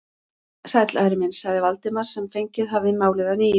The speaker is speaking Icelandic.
Sæll, Ari minn sagði Valdimar sem fengið hafði málið að nýju.